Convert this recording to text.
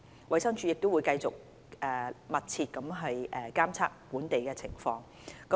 衞生署會繼續密切監測本地的情況。